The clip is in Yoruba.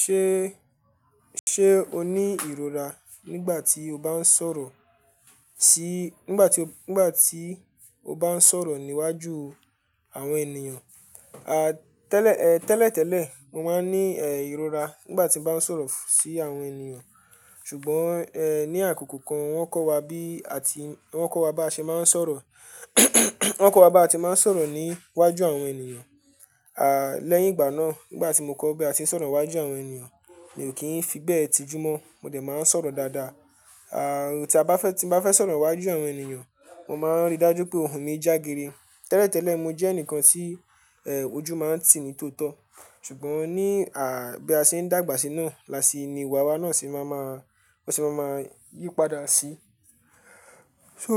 Ṣé, ṣe o ní ìrora nígbà tí o bá ń sọ̀rọ̀ sí, nígbà tí o, nígbà tí o bá ń sọ̀rọ̀ níwájú àwọn ènìyàn? A, tẹ́lẹ̀, tẹ́lẹ̀ tẹ́lẹ̀ mo máa ń ní, eh, ìrora nígbà tí mo bá ń sọ̀rọ̀ sí àwọn ènìyàn. Ṣùgbọ́n, ẹ, ní àkókò kan wọ́n kọ́ wa bí a ti, wọ́n kọ́ wa bá ṣe máa ń sọ̀rọ̀, wọ́n kọ́ wa bá ti máa ń sọ̀rọ̀ níwájú àwọn ènìyàn. A, lẹ́yìn ìgbà náà, nígbà tí mo kọ́ bí a ṣe ń sọ̀rọ̀ wájú àwọn ènìyàn, mi ò kí ń fi bẹ́ẹ̀ tijú mọ́. Mo dẹ̀ máa ń sọ̀rọ̀ dáadáa. A, tí a bá fẹ́, tí mo bá fẹ́ sọ̀rọ̀ wájú àwọn ènìyàn, mo máa ń rí dájú pé òhun mí jágere. Tẹ́lẹ̀ tẹ́lẹ̀ mo jẹ́ ẹnìkan tí, ẹ, ojú máa ń tì ní tó tọ́. Ṣùgbọ́n ní, a, bí a ṣe ń dàgbà síná, là sí ni ìwà wa náà sì máa ma, wọ́n sì máa ma yípadà sí. So